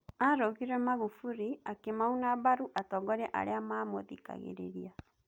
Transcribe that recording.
arugire Magufuli akimauna mbaru atongoria aria mamũthikagoriria.